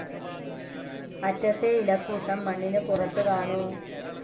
അറ്റത്തെ ഇലക്കൂട്ടം മണ്ണിനു പുറത്തുകാണൂ.